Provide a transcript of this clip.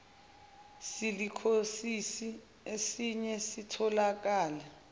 silikhosisi esiye sitholakale